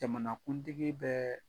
Jamanakuntigi bɛɛ